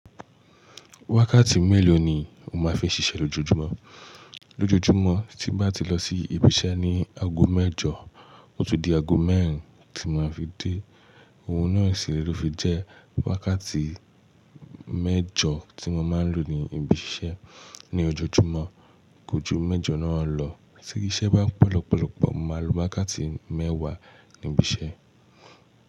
Wákàtí mélòó ni o máa fi ń ṣiṣẹ́ lójoójúmọ́? Lójojúmọ́ tí bá ti lọ sí ibiṣẹ́ ní aago mẹ́jọ, ó ti di aago mẹ́rin tí mo máa fi dé. Ohun náà siré ló fi jẹ́ wákàtí mẹ́jọ tí mo máa ń lò ní ibiṣẹ́ ní ojojúmọ́. Kojú mẹ́jọ náà lọ, tí iṣẹ́ bá pọ̀ lọ́pọ̀lọ́pọ̀, mo máa lo wákàtí mẹ́wàá ní ibiṣẹ́.